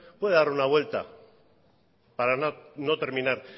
puede dar una vuelta para no terminar